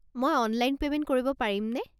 মই online payment কৰিব পাৰিমনে?